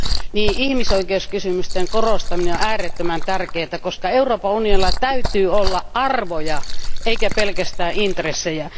Näin ihmisoikeuskysymysten korostaminen on äärettömän tärkeää, koska Euroopan Unionilla täytyy olla arvoja eikä pelkästään intressejä.